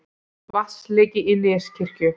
Vatnsleki í Neskirkju